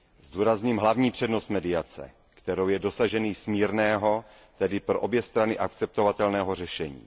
Zdůrazním hlavní přednost mediace, kterou je dosažení smírného, tedy pro obě strany akceptovatelného řešení.